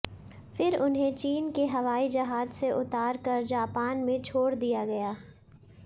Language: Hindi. फ़िर उन्हें चीन के हवाई जहाज से उतार कर जापान में छोड़ दिया गया